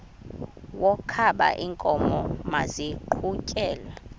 wokaba iinkomo maziqhutyelwe